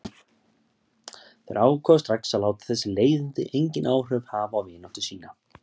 Þeir ákváðu strax að láta þessi leiðindi engin áhrif hafa á vináttu sína.